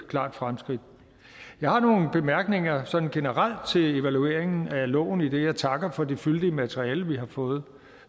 klart fremskridt jeg har nogle bemærkninger sådan generelt til evalueringen af loven idet jeg takker for det fyldige materiale vi har fået